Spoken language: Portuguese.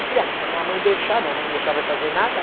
Eu falei, ah, se a minha mãe deixar, minha mãe não deixar vai fazer nada